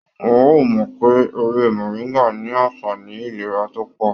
Wọn o mọ pé ewé moringa ní anfààní ìlera tó pọ.